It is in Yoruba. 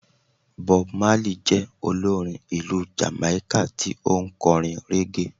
Bob Marley je olorín ìlú Jamaika tí o n korín reggae